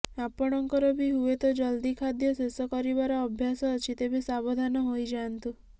ଆପଣଙ୍କର ବି ହୁଏତ ଜଲ୍ଦି ଖାଦ୍ୟ ଶେଷ କରିବାର ଅଭ୍ୟାସ ଅଛି ତେବେ ସାବଧାନ ହୋଇଯାନ୍ତୁ